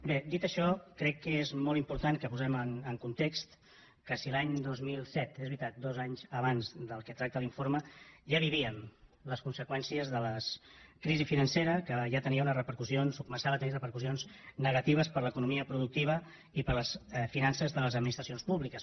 bé dit això crec que és molt important que posem en context que si l’any dos mil set és veritat dos anys abans del que tracta l’informe ja vivíem les conseqüències de la crisi financera que ja tenia unes repercussions o començava a tenir repercussions negatives per a l’economia productiva i per a les finances de les administracions públiques